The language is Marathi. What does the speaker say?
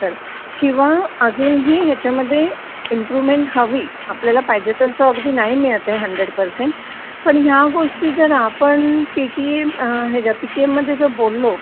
नंतर किंवा अजून ही ह्याचमध्ये इमपरूवमेन्ट हवी पाहिजे तास अगदी नाही मिळत आहे हंडरेड परसेंट पण ह्या गोष्टी जरआपण पीटीएम पीटीएममध्ये जर बोललो